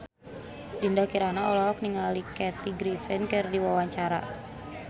Dinda Kirana olohok ningali Kathy Griffin keur diwawancara